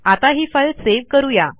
आता ही file save करू या